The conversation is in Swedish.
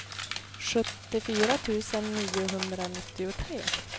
sjuttiofyra tusen niohundranittiotre